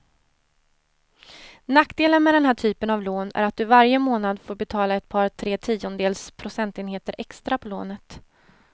Nackdelen med den här typen av lån är att du varje månad får betala ett par, tre tiondels procentenheter extra på lånet.